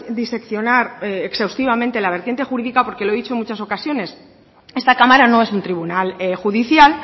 diseccionar exhaustivamente la vertiente jurídica porque lo he dicho en muchas ocasiones esta cámara no es un tribunal judicial